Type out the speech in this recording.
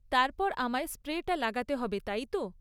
তারপর আমায় স্প্রেটা লাগাতে হবে, তাই তো?